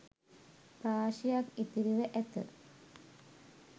රාශියක් ඉතිරිව ඇත